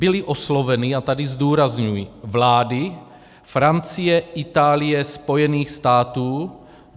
Byly osloveny - a tady zdůrazňuji - vlády Francie, Itálie, Spojených států.